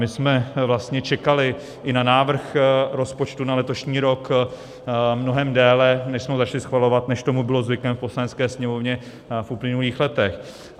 My jsme vlastně čekali i na návrh rozpočtu na letošní rok mnohem déle, než jsme ho začali schvalovat, než tomu bylo zvykem v Poslanecké sněmovně v uplynulých letech.